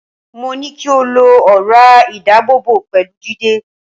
Mo ní kí o lo ọ̀rá ìdábòbò pẹ̀lú Jídé